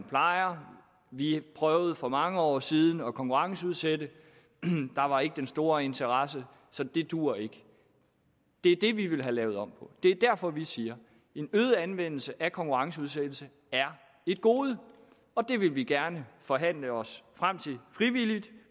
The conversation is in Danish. plejer vi prøvede for mange år siden at konkurrenceudsætte der var ikke den store interesse så det duer ikke det er det vi vil have lavet om det er derfor vi siger en øget anvendelse af konkurrenceudsættelse er et gode det vil vi gerne forhandle os frem til frivilligt